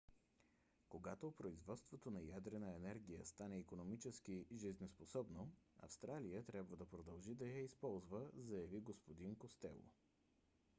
когато производството на ядрена енергия стане икономически жизнеспособно австралия трябва да продължи да я използва заяви г-н костело